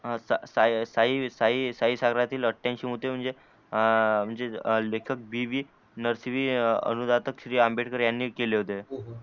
हा साई साई साई साई सायबातील आठ्यानक्षी मुदे म्हणजे लेखक बी वी नरसीवी अनुदातक श्री आंबेडकर यांनी केले होते.